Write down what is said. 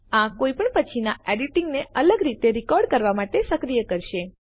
આ કોઈ પણ પછીના એડિટિંગને અલગ રીતે રેકોર્ડ કરવા માટે સક્રિય કરશે